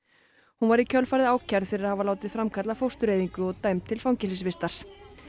hún var í kjölfarið ákærð fyrir að hafa látið framkalla fóstureyðingu og dæmd til fangelsisvistar